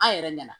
An yɛrɛ nana